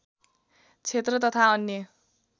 क्षेत्र तथा अन्य